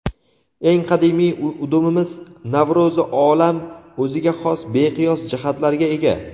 eng qadimiy udumimiz–Navro‘zi olam o‘ziga xos beqiyos jihatlariga ega.